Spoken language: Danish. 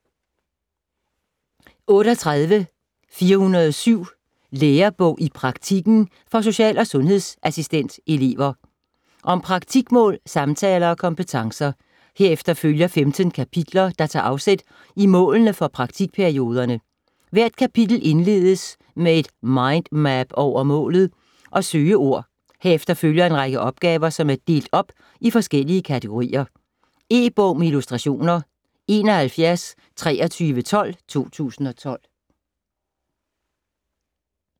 38.407 Lærebog i praktikken - for social- og sundhedsassistentelever Om praktikmål, samtaler og kompetencer. Herefter følger 15 kapitler, der tager afsæt i målene for praktikperioderne. Hvert kapitel indledes med et mindmap over målet og søgeord. Herefter følger en række opgaver, som er delt op i forskellige kategorier. E-bog med illustrationer 712312 2012.